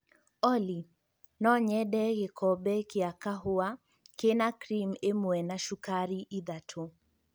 Olly, no nyende gĩkombe kĩa kahũa kĩ na cream ĩmwe na sukari ithatũ